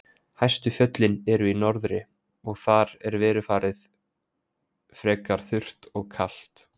Hæstu fjöllin eru í norðri og þar er veðurfarið frekar þurrt og kalt.